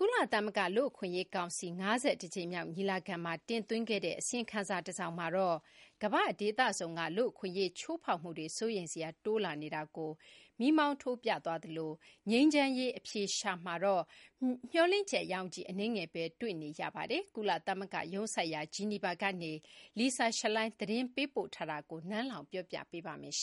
ကုလသမဂ္ဂလူ့အခွင့်အရေးကောင်စီ ၅၁ ကြိမ်မြောက် ညီလာခံမှာ တင်သွင်းခဲ့တဲ့ အစီရင်ခံစာတစောင်မှာတော့ ကမ္ဘာ့ဒေသစုံက လူ့အခွင့်အရေးချိုးဖောက်မှုတွေ စိုးရိမ်စရာ တိုးလာနေတာကို မီးမောင်းထိုးပြသွားသလို ငြိမ်းချမ်းရေး အဖြေရှာမှာတော့ မေ ျှာ်လင့်ချက် ရောင်ခြည်အနည်းငယ်ပဲတွေ့နေရပါတယ်။ ကုလသဂ္ဂရုံးစိုက်ရာ Geneva ကနေ Lisa Schlein သတင်းပေးပို့ထားတာကို နန်းလောင်ဝ်က တင်ပြထားပါတယ်။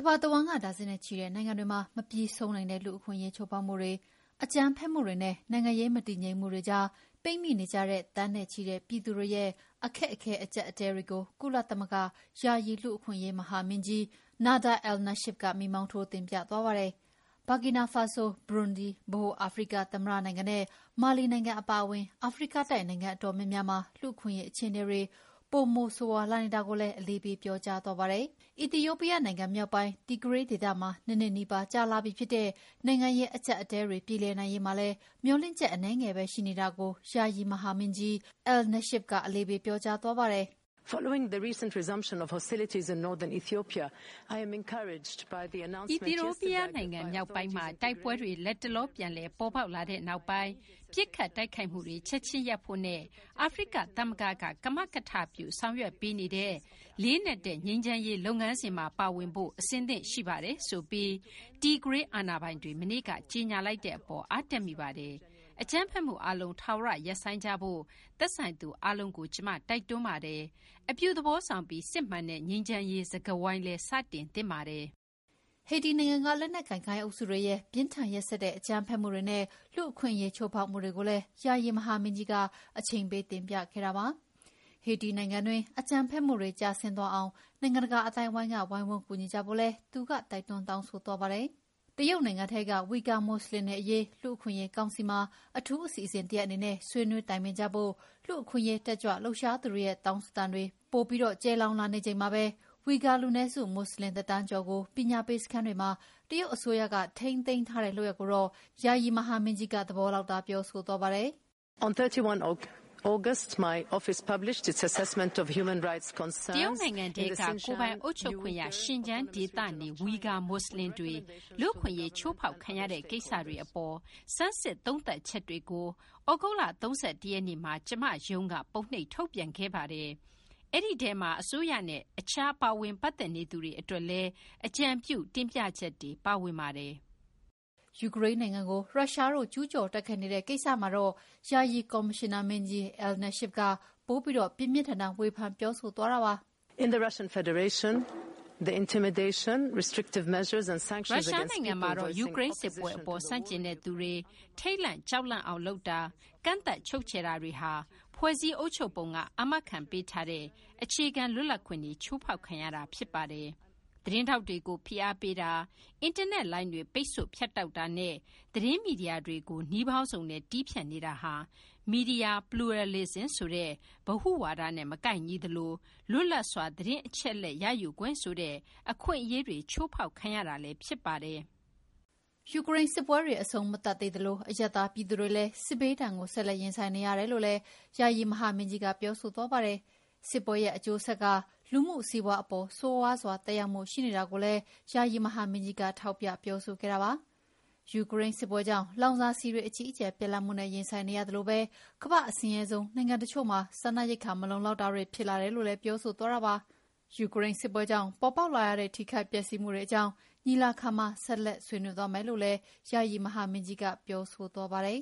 ကမ္ဘာတဝန်း ဒါဇင်နဲ့ချီတဲ့ နိုင်ငံတွေမှာ မပြီးဆုံးနိုင်သော လူ့အခွင့်အရေးချိုးဖောက်မှုတွေ၊ အကြမ်းဖက်မှုတွေနဲ့ နိုင်ငံရေးမတည်ငြိမ်မှုတွေကြားမှာပိတ်မိနေကြတဲ့ သန်းနဲ့ချီတဲ့ ပြည်သူတွေရဲ့အခက်အခဲအကျပ်အတည်းတွေကို ကုလသမဂ္ဂ ယာယီလူ့အခွင့်အရေးမဟာမင်းကြီး Nada Al-Nashif က မီးမှောင်းထိုးတင်ပြသွားပါတယ်။ ဘာကီနာဖာဆို၊ ဘရွန်ဒီ၊ ဗဟိုအာဖရိကသမ္မတနိုင်ငံ နဲ့ မာလီနိုင်ငံအပါအဝင် အာဖရိကတိုက်နိုင်ငံအတော်များများမှာ လူ့အခွင့်အရေးအခြေအနေတွေ ပိုမိုဆိုးရွားလာနေတာကိုလည်း အလေးပေးပြောကြားသွားပါတယ်။ အီသီယိုးပီးယားနိုင်ငံ မြောက်ပိုင်း Tigray ဒေသမှာ ၂ နှစ်နီးပါး ကြာလာပြီဖြစ်တဲ့ နိုင်ငံရေးအကျပ်အတည်းတွေ ပြေလည်နိုင်ရေးမှာလည်း မေ ျှာ်လင့်ချက်အနည်းငယ်ပဲရှိနေတာကို ယာယီမဟာမင်းကြီး Al-Nashif က အလေးပေးပြောကြားသွားပါတယ်။ " အီသီယိုးပီးယားနိုင်ငံမြောက်ပိုင်းမှာ တိုက်ပွဲတွေ လတ်တလောပြန်လည်ပေါ်ပေါက်လာတဲ့နောက်ပိုင်း ပစ်ခတ်တိုက်ခိုက်မှုတွေ ချက်ချင်းရပ်ဖို့နဲ့ အာဖရိက သမဂ္ဂက ကမကထပြုဆောင်ရွက်ပေးနေတဲ့ လေးနက်တဲ့ ငြိမ်းချမ်းရေးလုပ်ငန်းစဉ်မှာ ပါဝင်ဖို့ အဆင်သင့်ရှိပါတယ်ဆိုပြီး Tigray အာဏာပိုင်တွေမနေ့က ကြေငြာလိုက်တဲ့ အပေါ် အားတက်မိပါတယ်။ အကြမ်းဖက်မှုအားလုံး ထာဝရ ရပ်ဆိုင်းကြဖို့ သက်ဆိုင်သူအားလုံးကို ကျမ တိုက်တွန်းပါတယ်။ နောက်ပြီး အပြုသဘောဆောင်ပြီး စစ်မှန်တဲ့ ငြိမ်းချမ်းရေးစကားဝိုင်း စတင်သင့်ပါတယ်။" ဟေတီနိုင်ငံက လက်နက်ကိုင် ဂိုဏ်းအုပ်စုတွေရဲ့ ပြင်းထန်ရက်စက်တဲ့ အကြမ်းဖက်မှုတွေနဲ့ လူ့အခွင့်အရေးချိုးဖောက်မှုတွေကိုလည်း ယာယီမဟာမင်းကြီးက အချိန်ပေးတင်ပြခဲ့တာပါ။ ဟေတီနိုင်ငံတွင်း အကြမ်းဖက်မှုတွေ ကျဆင်းသွားအောင် နိုင်ငံတကာအသိုင်းအဝိုင်းက ဝိုင်းဝန်းကူညီကြဖို့လည်း သူက တိုက်တွန်းတောင်းဆိုသွားပါတယ်။ တရုတ်နိုင်ငံထဲက ဝီဂါမွတ်ဆလင်တွေအရေး လူ့အခွင့်အရေးကောင်စီမှာ အထူးအစီအစဉ်တရပ်အနေနဲ့ ဆွေးနွေးတိုင်ပင်ဖို့ လူ့အခွင့်အရေးတက်ကြွလှုပ်ရှားသူတွေရဲ့ တောင်းဆိုသံတွေလည်း ပိုပြီး ကျယ်လောင်လာနေချိန်မှာပဲ ဝီဂါ လူနည်းစု မွတ်ဆလင်တသန်းကျော်ကို ပညာပေးစခန်းတွေမှာ တရုတ်အစိုးရက ထိန်းသိမ်းထားတဲ့လုပ်ရပ်ကိုတော့ ယာယီမဟာမင်းကြီးက သဘောလောက်သာ ပြောဆိုသွားပါတယ်။ "တရုတ်နိုင်ငံထဲက ကိုယ်ပိုင်အုပ်ချုပ်ခွင့်ရ Xinjiang ဒေသနေ ဝီဂါမွတ်ဆလင်တွေ လူ့အခွင့်အရေးချိုးဖောက်ခံရတဲ့ ကိစ္စတွေအပေါ် ဆန်းစစ်သုံးသပ်ချက်တွေကို သြဂုတ်လ ၃၁ ရက်နေ့မှာ ကျမရုံးက ပုံနှိပ်ထုတ်ပြန်ခဲ့ပါတယ်။ အဲဒီထဲမှာ အစိုးရနဲ့ အခြားပါဝင်ပတ်သက်နေသူတွေ အတွက်လည်း အကြံပြုတင်ပြချက်တွေ ပါဝင်ပါတယ်။ " ယူကရိန်းနိုင်ငံကို ရုရှားတို့ ကျူးကျော်တိုက်ခိုက်နေတဲ့ ကိစ္စမှာတော့ ယာယီကော်မရှင်နာမင်းကြီး Al-Nashif က ပိုပြီး ပြင်းပြင်းထန်ထန် ဝေဖန်ပြောဆိုသွားပါတယ်။ "ရုရှားနိုင်ငံမှာတော့ ယူကရိန်းစစ်ပွဲအပေါ် ဆန့်ကျင်တဲ့ သူတွေထိတ်လန့် ကြောက်လန့်အောင်လုပ်တာ၊ ကန့်သတ်ချုပ်ခြယ်တာတွေဟာ ဖွဲ့စည်းအုပ်ချုပ်ပုံက အာမခံပေးထားတဲ့ အခြေခံလွတ်လပ်ခွင့်တွေ ချိုးဖောက်ခံရတာဖြစ်ပါတယ်။ သတင်းထောက်တွေကို ဖိအားပေးတာ၊ အင်တာနက်လိုင်းတွေ ပိတ်ဆို့ဖြတ်တောက်တာနဲ့ သတင်းမီဒီယာတွေကို နည်းပေါင်းစုံနဲ့ တည်းဖြတ်နေတာဟာ media pluralism ဆိုတဲ့ ဗဟုဝါဒနဲ့ မကိုက်ညီသလို လွတ်လပ်စွာ သတင်းအချက်အလက်ရယူခွင့်ဆိုတဲ့ အခွင့်အရေးတွေချိုးဖောက်ခံရတာလည်းဖြစ်ပါတယ်" ယူကရိန်းစစ်ပွဲတွေ အဆုံးမသတ်သေးသလို အရပ်သားပြည်သူတွေလည်း စစ်ဘေးဒဏ်ကိုဆက်လက်ရင်ဆိုင်နေရတယ်လို့လည်း ယာယီမဟာမင်းကြီး Al-Nashif ကပြောဆိုသွားပါတယ်။ စစ်ပွဲရဲ့အကျိုးဆက်က လူမှုစီးပါွးအပေါ် ဆိုးရွားစွာ သက်ရောက်မှုတွေရှိနေတာကိုလည်း ယာယီမဟာမင်းကြီးက ထောက်ပြပြောဆိုခဲ့တာပါ။ ယူကရိန်းစစ်ပွဲကြောင့် လောင်စာဆီတွေ အကြီးအကျယ်ပြတ်လတ်မှုနဲ့ ရင်ဆိုင်ရသလိုပဲ ကမ္ဘာ့အဆင်းရဲဆုံးနိုင်ငံတချို့မှာ စားနပ်ရိက္ခာမလုံလောက်တာတွေ ဖြစ်လာတယ်လို့လည်း ပြောဆိုသွားပါတယ်။ ယူကရိန်းစစ်ပွဲကြောင့် ပေါ်ပေါက်လာရတဲ့ ထိခိုက်ပျက်စီးမှုတွေအကြောင်း ညီလာခံမှာ ဆက်လက်ဆွေးနွေးသွားမယ်လို့လည်း ယာယီမဟာမင်းကြီးက ပြောဆိုသွားပါတယ်